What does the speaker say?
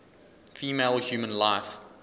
female human life